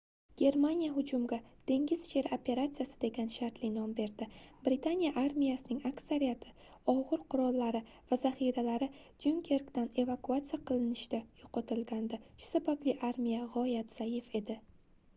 germaniya hujumga dengiz sheri operatsiyasi degan shartli nom berdi britaniya armiyasining aksariyat ogʻir qurollari va zaxiralari dyunkerkdan evakuatsiya qilinishda yoʻqotilgandi shu sababli armiya gʻoyat zaif edi